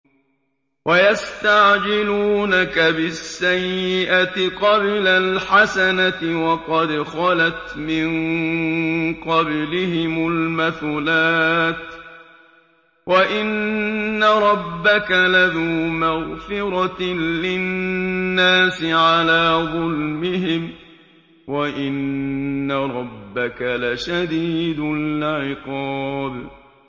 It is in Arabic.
وَيَسْتَعْجِلُونَكَ بِالسَّيِّئَةِ قَبْلَ الْحَسَنَةِ وَقَدْ خَلَتْ مِن قَبْلِهِمُ الْمَثُلَاتُ ۗ وَإِنَّ رَبَّكَ لَذُو مَغْفِرَةٍ لِّلنَّاسِ عَلَىٰ ظُلْمِهِمْ ۖ وَإِنَّ رَبَّكَ لَشَدِيدُ الْعِقَابِ